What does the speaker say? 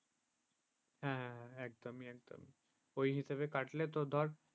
হ্যাঁ, একদমই ওই হিসেবে কাটলে তো ধর